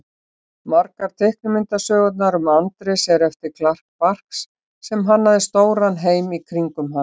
Margar teiknimyndasögurnar um Andrés eru eftir Carl Barks sem hannaði stóran heim í kringum hann.